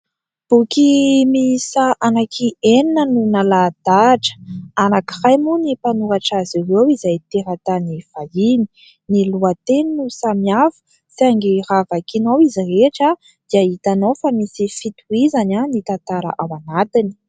Boky miisa anaky enina no nalaha-dahatra. Anankiray moa ny mpanoratra azy ireo izay teratany vahiny. Ny lohateny no samihafa, saingy raha vakianao izy rehetra dia hitanao fa misy fitohizany ny tantara ao anatiny.